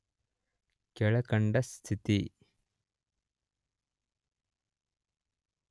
ಕೆಳಕಂಡ ಸ್ಥಿತಿ